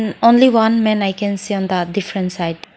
only one man i can see on the different side.